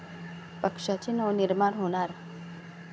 पक्षाचे नवनिर्माण होणार?